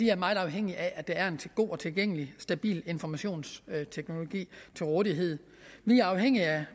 er meget afhængig af at der er en god og tilgængelig og stabil informationsteknologi til rådighed vi er afhængige af